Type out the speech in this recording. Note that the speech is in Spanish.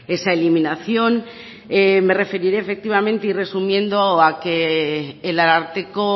esa eliminación me referiré efectivamente y resumiendo a que el ararteko